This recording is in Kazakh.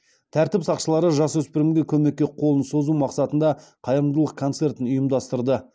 тәртіп сақшылары жасөспірімге көмекке қолын созу мақсатында қайырымдылық концертін ұйымдастырды